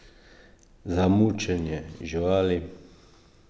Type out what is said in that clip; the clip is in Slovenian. Za mučenje živali?